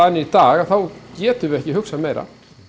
í dag þá getum við ekki hugsað meira